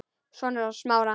Sonur hans Smára.